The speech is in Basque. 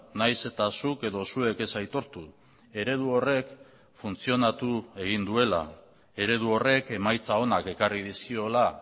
nahiz eta zuk edo zuek ez aitortu eredu horrek funtzionatu egin duela eredu horrek emaitza onak ekarri dizkiola